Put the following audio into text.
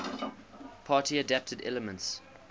party adapted elements